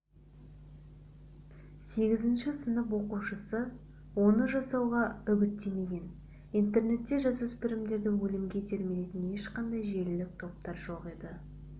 сегізінші сынып оқушысы оны жасауға үгіттемеген интернетте жасөспірімдерді өлімге итермелейтін ешқандай желілік топтар жоқ екі